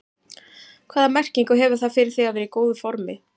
Hvaða merkingu hefur það fyrir þig að vera í góðu formi?